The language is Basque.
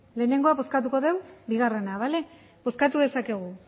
lehenengo bozkatuko dugu bigarrena bale bozkatu dezakegu